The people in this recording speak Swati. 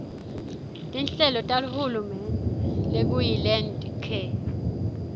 tinhlelo tahulumende lokuyilandcare